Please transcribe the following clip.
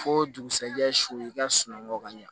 Fo dugusɛjɛ sulu i ka sununŋu ka ɲa